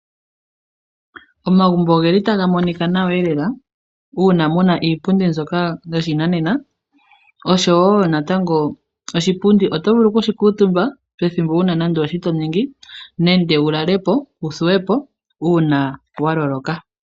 Omagumbo oge li taga monika nawa lela, uuna mu na iipundi mbyoka yoshinanena oshowo natango oshipundi oto vulu oku shi kuutumba pethimbo wuna nande oshi to ningi nande wu lale po, wu thuwe po uuna wa loloka.